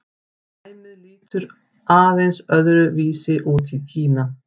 dæmið lítur aðeins öðru vísi út í kína